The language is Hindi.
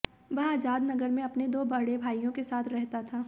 वह आजाद नगर में अपने दो बड़े भाइयों के साथ रहता था